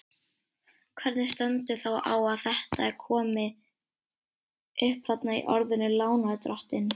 Hvernig stendur þá á að þetta er komi upp þarna í orðinu lánardrottinn?